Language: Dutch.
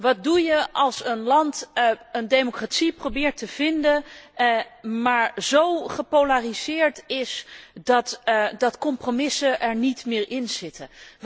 Wat doe je als een land een democratie probeert te vinden, maar zo gepolariseerd is dat compromissen er niet meer inzitten?